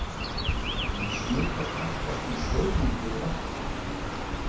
Menn smitast oftast með saurmenguðu vatni.